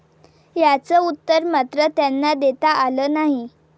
याचं उत्तर मात्र त्यांना देता आलं नाही.